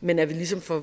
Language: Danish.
men at vi ligesom får